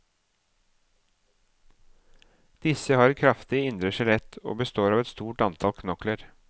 Disse har et kraftig indre skjelett og består av et stort antall knokler.